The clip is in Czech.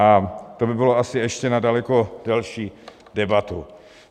A to by bylo asi ještě na daleko delší debatu.